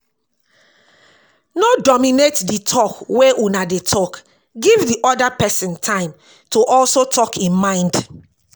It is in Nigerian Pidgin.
No dominate di talk wey una dey talk, give di oda person time to also talk im mind